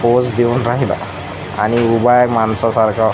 Pose देऊन राहिला आणि उभा आहे माणसासारखा .